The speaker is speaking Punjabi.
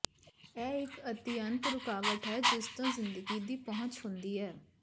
ਇਹ ਇੱਕ ਅਤਿਅੰਤ ਰੁਕਾਵਟ ਹੈ ਜਿਸ ਤੋਂ ਜ਼ਿੰਦਗੀ ਦੀ ਪਹੁੰਚ ਹੁੰਦੀ ਹੈ